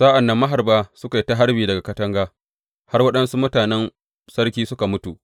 Sa’an nan maharba suka yi ta harbi daga katanga har waɗansu mutanen sarki suka mutu.